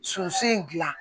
Sunsi in gilan